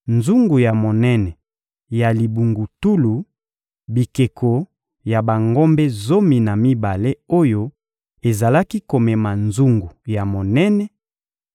nzungu ya monene ya libungutulu, bikeko ya bangombe zomi na mibale oyo ezalaki komema nzungu ya monene,